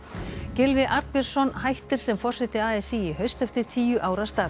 Gylfi Arnbjörnsson hættir sem forseti a s í í haust eftir tíu ára starf